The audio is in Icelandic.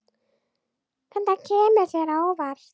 Þetta kemur þér á óvart.